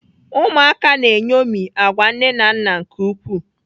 Ụmụaka na-eṅomi agwa nne na nna nke ukwuu.